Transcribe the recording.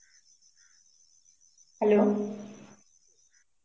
hello